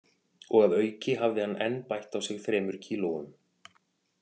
Og að auki hafði hann enn bætt á sig þremur kílóum